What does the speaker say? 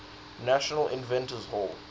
national inventors hall